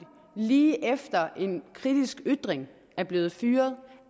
lige efter en kritisk ytring er blevet fyret